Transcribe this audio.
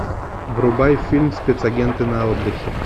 врубай фильм спецагенты на отдыхе